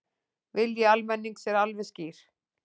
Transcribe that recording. Vilji almennings er alveg skýr